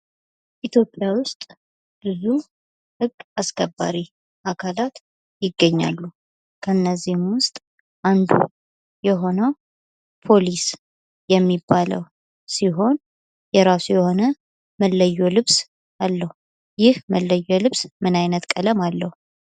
ኢትዮጵያ ውስጥ ብዙ ህግ አስከባሪ አካላት ይገኛሉ። ከነዚህም አንዱ የሆነው ፖሊስ የሚባለው ሲሆን የራሱ የሆነ መለዮ ልብስ አለው። ይህ መለዮ ልብስ ምን አይነት ቀለም አለው።